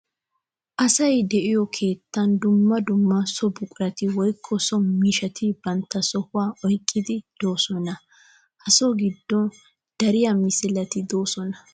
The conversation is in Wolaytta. Asay de'iyo keettan dumma dumma so buquratti woykko so miishshatti bantta sohuwa oyqqiddi de'osonna. Ha so gidon dari misilletti de'osonna.